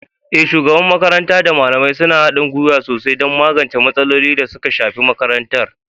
Eh, shugaban makaranta da malamai suna haɗin gwiwa sosai don magance matsalolin da suka shafi makarantar.